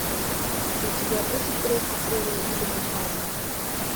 у тебя будет третья серия элементарно